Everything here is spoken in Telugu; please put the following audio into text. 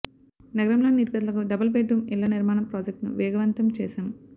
నగరంలోని నిరుపేదలకు డబుల్ బెడ్రూం ఇళ్ల నిర్మాణం ప్రాజెక్టును వేగవంతం చేశాం